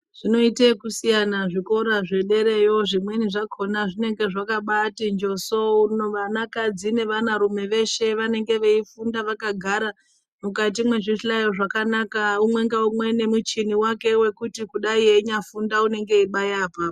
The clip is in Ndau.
Zvinoite okusiyana zvikora zvederayo. Zvimweni zvakhona zvinenge zvakabaati njoso vanakadzi nevanarume veshe vanenge veifunda vakagara mukati mwezvihlayo zvakanaka umwe naumwe nemuchini wake wekuti dayi einyafunda anenge achibaya apapo.